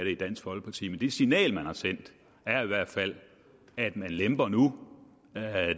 i dansk folkeparti men det signal man har sendt er i hvert fald at man lemper nu